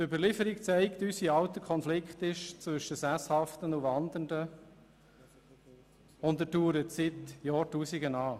Die Überlieferung zeigt uns, wie alt der Konflikt zwischen Sesshaften und Wandernden ist, und er dauert seit Jahrtausenden an.